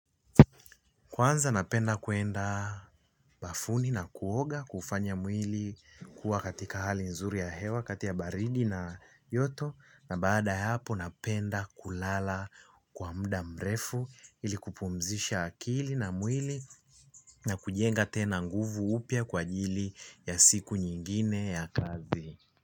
Kwanza napenda kwenda bafuni na kuoga kufanya mwili kuwa katika hali nzuri ya hewa kati baridi na joto, na baada hapo napenda kulala kwa muda mrefu ili kupumzisha akili na mwili. Na kujenga tena nguvu upya kwa ajili ya siku nyingine ya kazi.